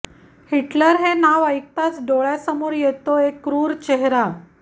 Hitler हे नाव ऐकताच डोळ्यांसमोर येतो एक क्रुर चेहरा